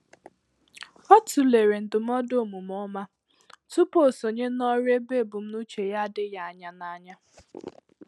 Ọ tụlere ndụmọdụ omume ọma tupu o sonye ná òrụ́ ébé ebumnuche ya adịghị anya n’anya